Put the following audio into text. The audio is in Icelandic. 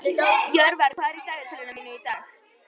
Jörvar, hvað er í dagatalinu mínu í dag?